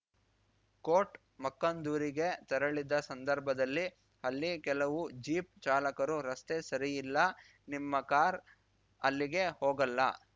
coat ಮಕ್ಕಂದೂರಿಗೆ ತೆರಳಿದ್ದ ಸಂದರ್ಭದಲ್ಲಿ ಅಲ್ಲಿ ಕೆಲವು ಜೀಪ್‌ ಚಾಲಕರು ರಸ್ತೆ ಸರಿ ಇಲ್ಲ ನಿಮ್ಮ ಕಾರ್‌ ಅಲ್ಲಿಗೆ ಹೋಗಲ್ಲ